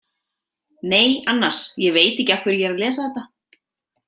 Nei, annars, ég veit ekki af hverju ég er að lesa þetta.